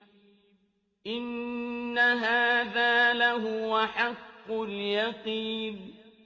إِنَّ هَٰذَا لَهُوَ حَقُّ الْيَقِينِ